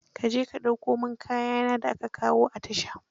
Ka je ka dauko mon kaya na da aka kawo a tasha.